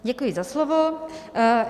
Děkuji za slovo.